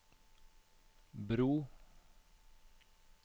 bro